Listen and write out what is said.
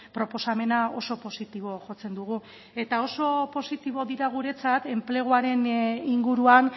proposamena oso positibo jotzen dugu eta oso positibo dira guretzat enpleguaren inguruan